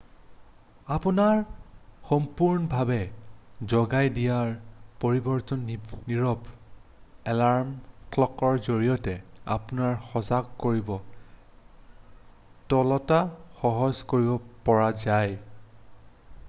আপোনাৰ সম্পূৰ্ণভাৱে জগাই দিয়াৰ পৰিৱৰ্তে নীৰৱ এলাৰ্ম ক্লকৰ জৰিয়তে আপোনাৰ সজাগ কৰি তোলাটো সহজে কৰিব পৰা যায়